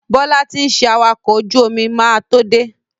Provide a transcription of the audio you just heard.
Bọ́lá ti ń ṣe awakọ̀ ojú omi máa tó dé.